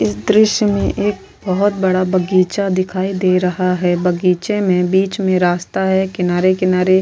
इस दृश्य में एक बहुत बड़ा बगीचा दिखाई दे रहा है बगीचे में बीच में रास्ता है किनारे किनारे --